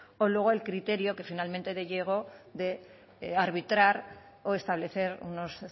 o luego el criterio que finalmente llegó de arbitrar o establecer unos